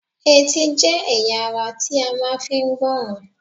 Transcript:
Etí jẹ́ ẹ̀yà ara ti a máa fi ń gbọ́ràn